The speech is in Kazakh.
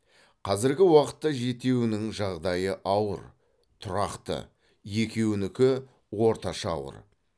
қазіргі уақытта жетеуінің жағдайы ауыр тұрақты екеуінікі орташа ауыр